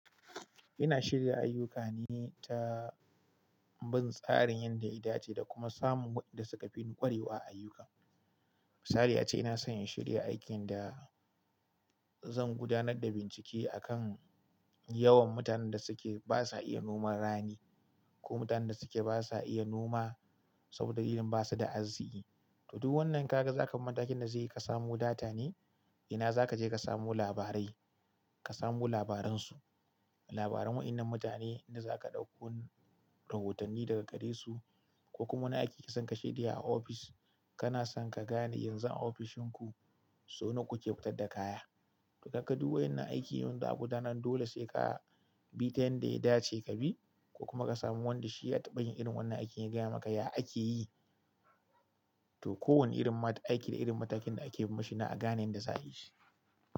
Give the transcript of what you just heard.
Ina shirya ayuka ne ta bin tsarin yadda ita ce, da kuma samun waɗanda suka fi yin ƙwarewa a ayyukan. Misali ace, ina son in shirya aikin da zan gudanar da bincike a kan yawan mutanen da suke ba sa iya noman rani, ko mutanen da suke ba sa iya noma saboda irin ba su da arziki. To duk wannan ka ga zakan matakin da zai yi ka samu data ne? Ina za ka je ka samu labarai, ka samu labaran su, labaran waɗannan mutane, inda za ka ɗauko rahotanni daga gare su, ko kuma wani aiki ka san ka shirya a ofis, kana son ka gane yanzu a ofishin ku so nawa kuke fitar da kaya. Idan ka duba irin aiki yanda aka gudanar dole sai ka bi ta yanda ya dace ka bi, ko kuma ka samu wanda shi ya taɓa yin irin wannan aikin ya gaya maka yadda ake yi. To kowane irin ma ta aiki da irin matakin da ake yi mashi na a gane yanda za a yi shi.